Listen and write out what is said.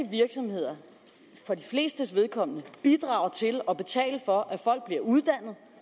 virksomheder for de flestes vedkommende bidrager til at betale for at folk bliver uddannet